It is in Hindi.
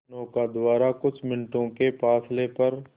नौका द्वारा कुछ मिनटों के फासले पर